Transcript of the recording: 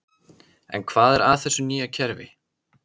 En hvað er að þessu nýja kerfi?